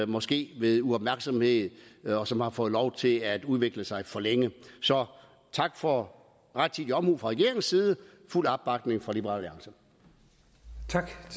måske ved uopmærksomhed og som har fået lov til at udvikle sig for længe så tak for rettidig omhu fra regeringens side og fuld opbakning fra liberal